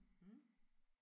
Mh